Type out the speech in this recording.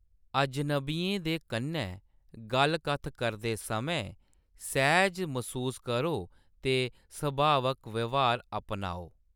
अजनबियें दे कन्नै गल्ल कत्थ करदे समें सैह्‌ज मसूस करो ते सभावक व्यहार अपनाओ।